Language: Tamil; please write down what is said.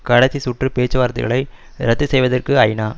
கடைசி சுற்று பேச்சுவார்த்தைகளை இரத்து செய்வதற்கு ஐ நா